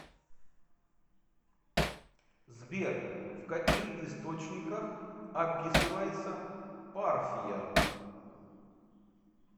сбер в каких источниках описывается парфия